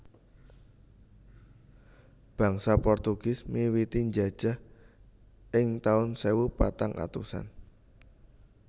Bangsa Portugis miwiti njajah ing tahun sewu patang atusan